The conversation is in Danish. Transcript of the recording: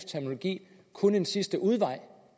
terminologi kun en sidste udvej